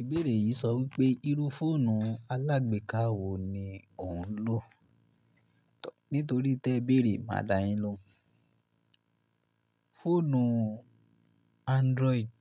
Ìbéèrè yìí sọ wípé irú fóònù alágbèká wo ni ò ń lò? Nítorí tẹ béèrè, máa dá yin lohun. Fóònù Android